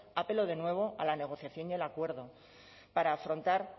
apelo de nuevo a la negociación y al acuerdo para afrontar